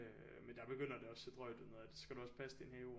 Øh men der begynder det også se drøjt ud noget af det så skal du også passe din have